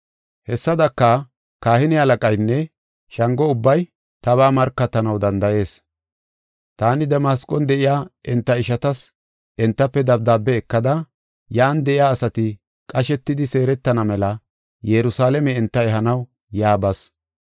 Hessadaka, kahine halaqaynne Shango ubbay tabaa markatanaw danda7ees. Taani Damasqon de7iya enta ishatas entafe dabdaabiya ekada yan de7iya asati qashetidi seeretana mela Yerusalaame enta ehanaw yaa bas.